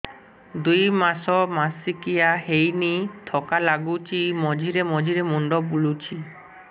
ଦୁଇ ମାସ ମାସିକିଆ ହେଇନି ଥକା ଲାଗୁଚି ମଝିରେ ମଝିରେ ମୁଣ୍ଡ ବୁଲୁଛି